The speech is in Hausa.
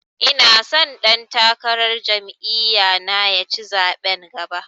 Ina so ɗan takarar jam'iya na ya ci zaɓen gaba